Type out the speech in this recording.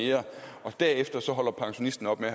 mere og derefter holder pensionisten op med